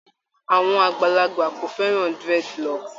Àwọn àgbàlagbà kò fẹ́ran dreadloocks